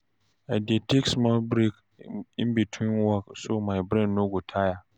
I dey take small break in between work so my brain no go tire.